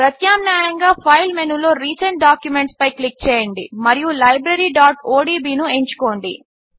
ప్రత్యామ్నాయంగా ఫైల్ మెనూలో recent documents పై క్లిక్ చేయండి మరియు libraryఒడిబి ను ఎంచుకోండి